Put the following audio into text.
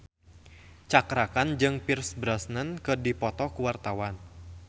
Cakra Khan jeung Pierce Brosnan keur dipoto ku wartawan